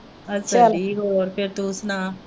ਆਪਾਂ ਠੀਕ ਹੈ ਹੋਰ ਫਿਰ ਤੂੰ ਸੁਣਾ?